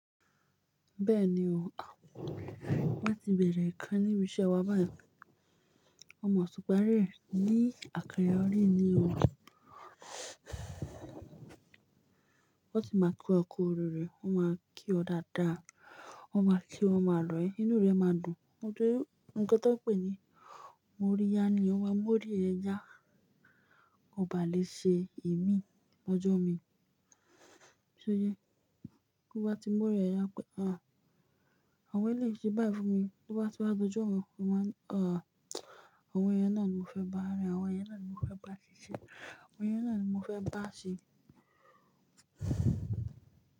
Bẹ́ẹ̀ni o, wọ́n ti bẹ̀erẹ̀ nǹkan níbi iṣẹ́ wa báyìí. Wọ́n mọ̀ ṣupà rẹ ní àkàrà orí ni o. Wọ́n ti máa ko ọkọ̀ òróró, wọ́n máa kí ọ dáadáa, wọ́n máa kí wọn máa lọ ẹ̀, inú rẹ máa dùn. Nǹkan tan pé ni mo rí yá ni ó máa mú orí ẹ yá, ọba lè ṣe imi lọ́jọ́ mi. Tó bá ti mú orí ẹ yá pé, àwọn eléyìí ṣẹ́ bái fún mi, tó bá ti wá dójọ́ mii, mo wáa ni a, àwọn ẹyẹ yen ni mo fẹ́ bá rìn, àwọn yẹn náà ni mo fẹ́ bá ṣiṣẹ́, àwọn yẹn náà ni mo fẹ́ bá ṣe.